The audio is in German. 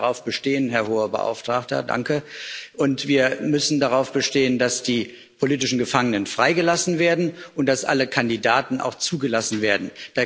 Wir sollten darauf bestehen, Herr Hoher Vertreter, und wir müssen darauf bestehen, dass die politischen Gefangenen freigelassen werden und dass auch alle Kandidaten zugelassen werden.